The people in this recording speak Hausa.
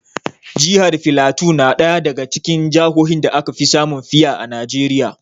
Jihar filato na ɗaya daga cikin jahohin da aka fi samun fiya a Najeriya.